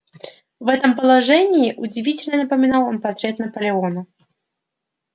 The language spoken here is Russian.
в этом положении удивительно напоминал он портрет наполеона